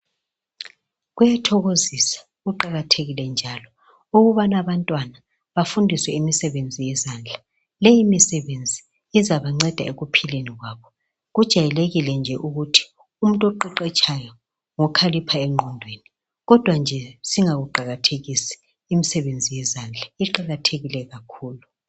Kuyathokozisa kuqakathekile njalo ukuba abantwana bafundiswe imisebenzi yezandla. Leyi misebenzi izabanceda ekuphileni kwabo. Kujayelekile nje ukuthi umuntu oqeqetshayo ngokhalipha engqondweni kodwa nje singayiqakathekisi imisebenzi yezandla, iqakathekile kakhulu.